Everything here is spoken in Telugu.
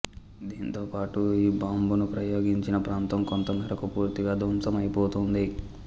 దీంతోపాటు ఈ బాంబును ప్రయోగించిన ప్రాంతం కొంత మేరకు పూర్తిగా ధ్వంసమైపోతుంది